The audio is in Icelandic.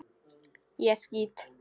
Ég skýt!